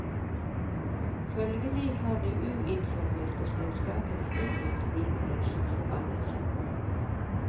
Følgelig har de uinformerte selskapene unngått vinnerens forbannelse.